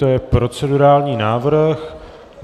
To je procedurální návrh.